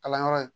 Kalanyɔrɔ in